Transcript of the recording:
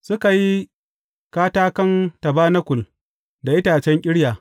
Suka yi katakan tabanakul da itacen ƙirya.